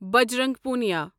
Bajrang Punia